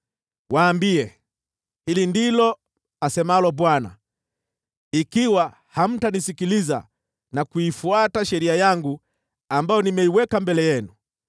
Waambie, ‘Hili ndilo asemalo Bwana : Ikiwa hamtanisikiliza na kuifuata sheria yangu ambayo nimeiweka mbele yenu,